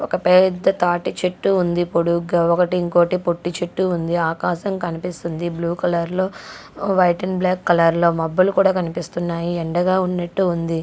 ఒక పెద్ద తాటి చెట్టు ఉంది పొడుగ్గా ఒకటి ఇంకోటి పొట్టి చెట్టు ఉంది ఆకాశం కనిపిస్తుంది బ్లూ కలర్ లో వైట్ అండ్ బ్లాక్ కలర్ లో మబ్బులు కూడా కనిపిస్తున్నాయి ఎండగా ఉన్నట్టు ఉంది.